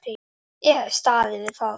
Ég hef staðið við það.